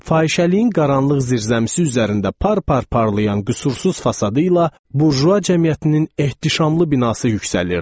Fahişəliyin qaranlıq zirzəmisi üzərində par-par parlayan qüsursuz fasadı ilə burjua cəmiyyətinin ehtişamlı binası yüksəlirdi.